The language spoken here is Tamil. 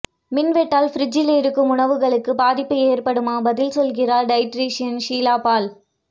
மின்வெட்டால் ஃப்ரிட்ஜில் இருக்கும் உணவுகளுக்கு பாதிப்பு ஏற்படுமா பதில் சொல்கிறார் டயட்டீஷியன் ஷீலா பால்